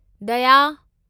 दया